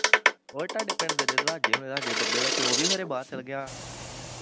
ਓਏ ਤੁਹਾਡੇ ਪਿੰਡ ਦੇ ਰਜਵਾਜੇ ਹੁਣੀ ਦੱਸਦੇ ਬੱਬੇ ਦਾ ਪਿਉ ਵੀ ਖਰੇ ਬਾਹਰ ਚੱਲ ਗਿਆ ਵਾਂ